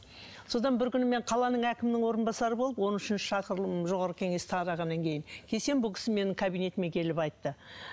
содан бір күні мен қаланың әкімінің орынбасары болып он үшінші шақырылым жоғарғы кеңес тарағаннан кейін келсем бұл кісі менің кабинетіме келіп айтты